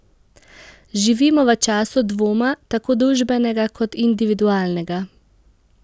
Živimo v času dvoma, tako družbenega kot individualnega.